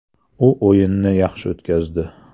U o‘yinni yaxshi o‘tkazdi.